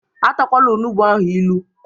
E takwala onugbu ahu ilu!